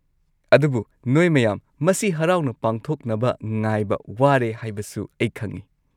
ꯑꯗꯨꯕꯨ ꯅꯣꯏ ꯃꯌꯥꯝ ꯃꯁꯤ ꯍꯔꯥꯎꯅ ꯄꯥꯡꯊꯣꯛꯅꯕ ꯉꯥꯏꯕ ꯋꯥꯔꯦ ꯍꯥꯏꯕꯁꯨ ꯑꯩ ꯈꯪꯉꯤ꯫